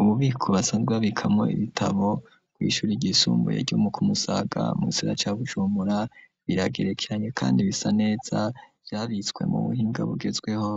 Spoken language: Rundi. Umubiko basazwa bikamwo ibitabo rw'ishuri rgisumbuye ryumu kumusaga musira ca bujumura biragerekranye, kandi bisa neza vyabitswe mu buhinga bugezweho